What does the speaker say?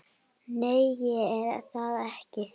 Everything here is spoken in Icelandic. Nei, ég er það ekki.